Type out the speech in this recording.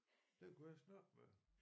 Den kunne jeg snakke med